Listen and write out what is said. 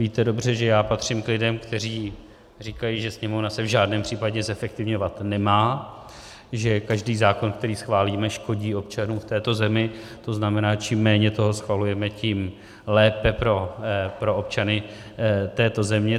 Víte dobře, že já patřím k lidem, kteří říkají, že Sněmovna se v žádném případě zefektivňovat nemá, že každý zákon, který schválíme, škodí občanům v této zemi, to znamená, čím méně toho schvalujeme, tím lépe pro občany této země.